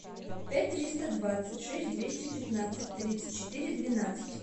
пять триста двадцать шесть двести пятнадцать тридцать четыре двенадцать